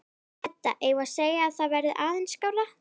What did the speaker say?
Edda: Eigum við að segja að það verði aðeins skárra?